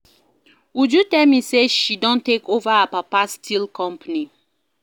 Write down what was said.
Uju tell me say she don take over her papa steel company